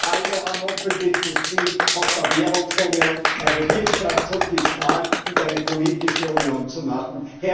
Wir alle haben hoffentlich das Ziel, aus der Währungsunion eine Wirtschafts und Fiskal und eine politische Union zu machen.